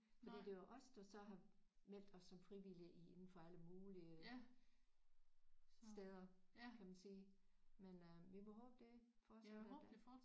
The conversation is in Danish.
Fordi det var os der så har meldt os som frivillige i inden for alle mulige steder kan man sige men øh vi må håbe det fortsætter da